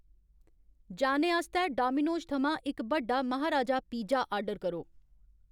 जाने आस्तै डोमिनोज़ थमां इक बड्डा महाराजा पिज़्ज़ा आर्डर करो